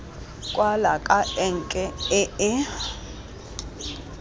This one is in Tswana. kwala ka enke e e